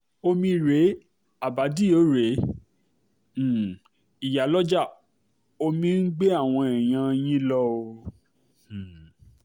omi rèé abàdíò rèé um ìyàlójá omi ń gbé àwọn èèyàn yín lọ o um